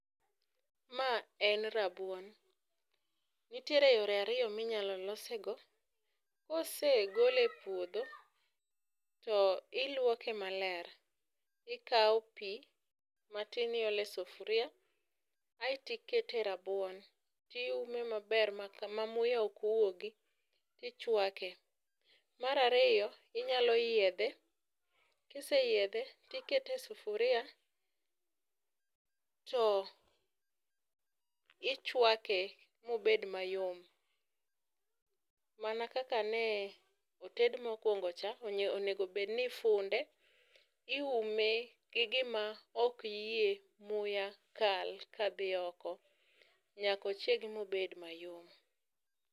Ma en rabuon , nitiere yore ariyo minyalo lose go: kosegole e puodho to iluoke maler, ikawo pii matin iole sufuria aeto ikete rabuon, tiume maber ma muya ok wuogi tichwake. Mar ariyo, inyalo yiedhe kiseyiedhe, tikete sufuria to ichwake mobed mayom mana kaka noted mokwongo cha onego bedni onego bedni ifunde ,iume gi gima ok yie muya kal kadhi oko nyak ochiegi mobed mayom.